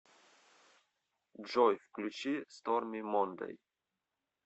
джой включи сторми мондэй